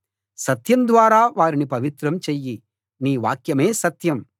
సత్యం ద్వారా వారిని పవిత్రం చెయ్యి నీ వాక్యమే సత్యం